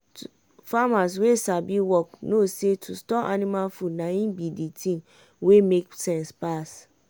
farmer wey sabi work no say to store anima food na im bi de tin wey make sense pass.